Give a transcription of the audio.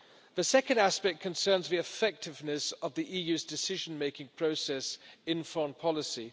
The second aspect concerns the effectiveness of the EU's decision making process in foreign policy.